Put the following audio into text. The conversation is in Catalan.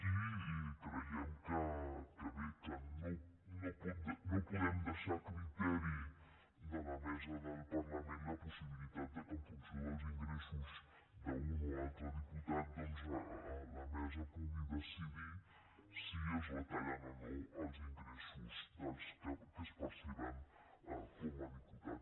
i creiem que bé no podem deixar a criteri de la mesa del parlament la possibilitat que en funció dels ingressos d’un o altre diputat doncs la mesa pugui decidir si es retallen o no els ingressos que es perceben com a diputat